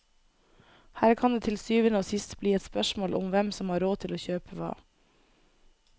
Her kan det til syvende og sist bli et spørsmål om hvem som har råd til å kjøpe hva.